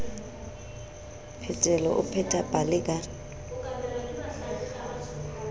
phetelo o pheta pale ka